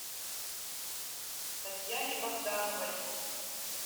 татьяне богдановой